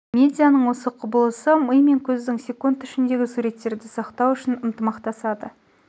медианың осы құбылысы ми мен көздің секунд ішінде суреттерді сақтау үшін ынтымақтасады